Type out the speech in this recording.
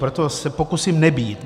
Proto se pokusím nebýt.